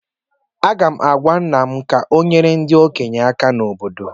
Aga m agwa nna m ka ọ nyere ndị ogbenye aka na obodo